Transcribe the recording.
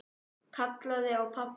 Kallaði á pabba.